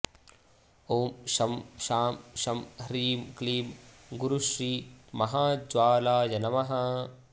ॐ शं शां षं ह्रीं क्लीं गुरुश्री महाज्वालाय नमः